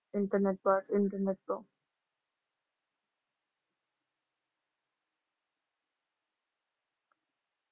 internet internet ਤੋਂ ।